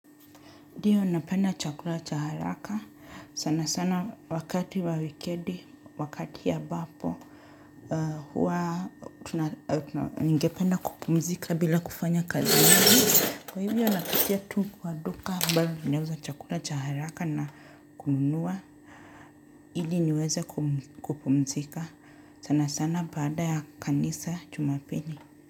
Ndiyo napenda chakula cha haraka. Sana sana wakati wa wikendi, wakati ambapo. Huwa ningependa kupumzika bila kufanya kazi. Kwa hivyo napitia tu kwa duka ambayo inauza chakula cha haraka na kununua. Ili niweze kupumzika. Sana sana baada ya kanisa jumapili.